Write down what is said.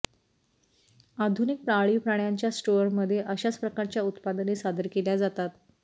आधुनिक पाळीव प्राण्यांच्या स्टोअरमध्ये अशाच प्रकारच्या उत्पादने सादर केल्या जातात